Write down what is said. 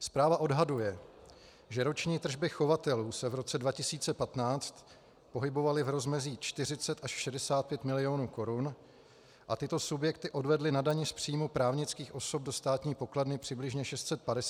Zpráva odhaduje, že roční tržby chovatelů se v roce 2015 pohybovaly v rozmezí 40 až 65 milionů korun a tyto subjekty odvedly na dani z příjmu právnických osob do státní pokladny přibližně 650 až 950 tisíc korun.